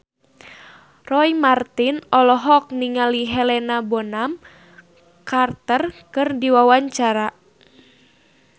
Roy Marten olohok ningali Helena Bonham Carter keur diwawancara